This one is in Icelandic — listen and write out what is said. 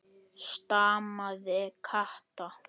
stamaði Kata.